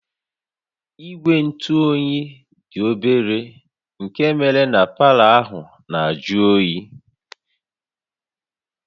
Igwe ntụ oyi dị obere nke méré na palọ ahụ na-ajụ oyi